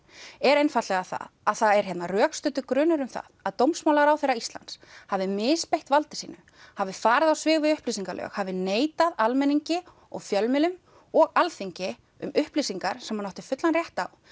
er einfaldlega það að það er hérna rökstuddur grunur um það að dómsmálaráðherra Íslands hafi misbeitt valdi sínu hafi farið á svig við upplýsingalög hafi neitað almenningi og fjölmiðlum og Alþingi um upplýsingar sem hann átti fullan rétt á